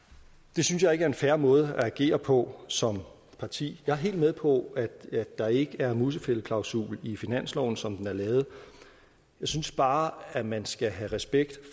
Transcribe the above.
det synes jeg ikke er en fair måde at agere på som parti jeg er helt med på at der ikke er en musefældeklausul i finansloven som den er lavet jeg synes bare at man skal have respekt